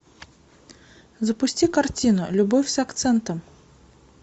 запусти картину любовь с акцентом